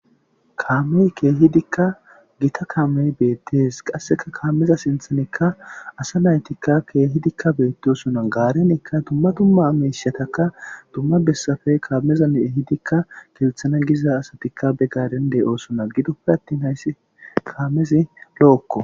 kaamey keehidikka gita kaamey beettes, qasseka kaameza sinthanekka asa naytikka keehidikka beettesona, gaarenikka dumma dumma ameyshataka dumma bessafe kaamezane'ehidikka ketethana giza asatikka be garende oosona gidoppe attin hayssi kaamezi lo'okko.